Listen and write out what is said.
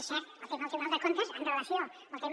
és cert el tema del tribunal de comptes amb relació al tema